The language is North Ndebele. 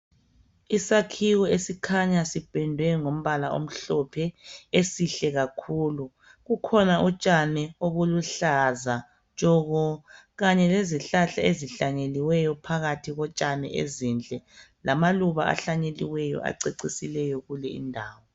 Isakhiwo esikhanya sipendwe ngombala omhlophe, esihle kakhulu. Kukhona utshani obuluhlaza tshoko, kanye lezihlahla ezihlanyeliweyo phakathi kotshani ezinhle. Lamaluba ahlanyeliweyo acecisileyo kule indawo.